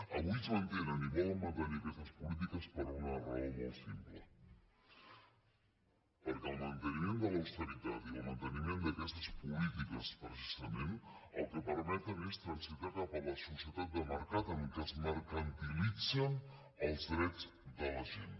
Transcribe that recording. avui es mantenen i volen mantenir aquestes polítiques per una raó molt simple perquè el manteniment de l’austeritat i el manteniment d’aquestes polítiques precisament el que permeten és transitar cap a la societat de mercat en què es mercantilitzen els drets de la gent